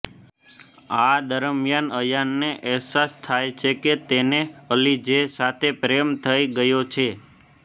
આ દરમિયાન અયાનને અહેસાસ થાય છે કે તેને અલીજેહ સાથે પ્રેમ થઇ ગયો છે